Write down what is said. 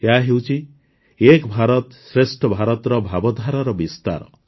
ଏହାହେଉଛି ଏକ ଭାରତଶ୍ରେଷ୍ଠ ଭାରତର ଭାବଧାରାର ବିସ୍ତାର